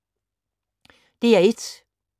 DR1